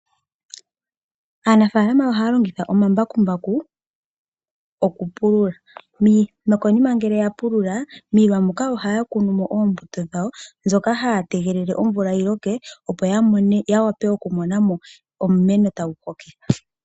Aanafalama ohaya longitha omambakumbaku okupulula. No konima ngele ya pulula miilwa muka ohaya kunu mo oombuto dhawo. Ohaya tegelele omvula yi loke opo ya mone omeno tagu kokitha.